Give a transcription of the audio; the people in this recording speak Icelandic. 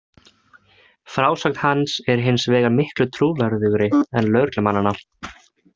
Frásögn hans er hins vegar miklu trúverðugri en lögreglumannanna.